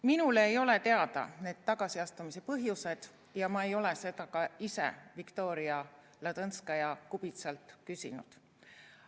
Minule ei ole need tagasiastumise põhjused teada ja ma ei ole seda ka ise Viktoria Ladõnskaja-Kubitsalt küsinud.